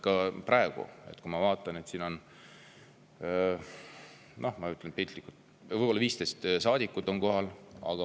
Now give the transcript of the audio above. Ka praegu ma vaatan, et siin on, ütlen piltlikult, võib-olla 15 saadikut kohal.